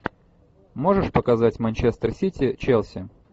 можешь показать манчестер сити челси